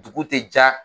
Dugu tɛ ja